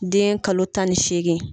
Den kalo tan ni segin